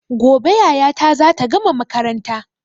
Gobe yayata zata gama makaranta